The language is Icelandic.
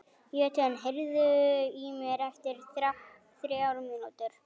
Jötunn, heyrðu í mér eftir þrjár mínútur.